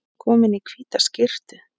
Komin í hvíta skyrtu.